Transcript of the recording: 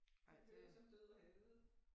De kører som død og helvede